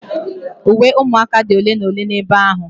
Uwe ụmụaka dị ole na ole n'ebe ahụ